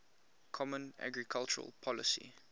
common agricultural policy